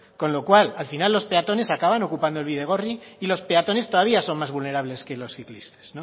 con lo cual al final los peatones acaban ocupando el bidegorri y los peatones todavía son más vulnerables que los ciclistas